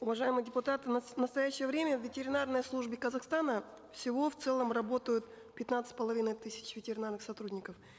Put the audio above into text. уважаемые депутаты в настоящее время в ветеринарной службе казахстана всего в целом работают пятнадцать с половиной тысяч ветеринарных сотрудников